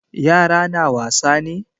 Yara na wasa ne?